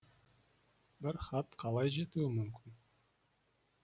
бірақ хат қалай жетуі мүмкін